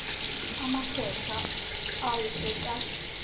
a masehla ao e ka